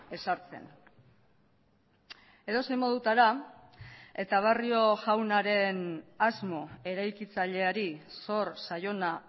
ezartzen edozein modutara eta barrio jaunaren asmo eraikitzaileari zor zaiona